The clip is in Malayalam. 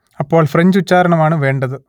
അപ്പോൾ ഫ്രഞ്ച് ഉച്ചാരണം ആണ് വേണ്ടത്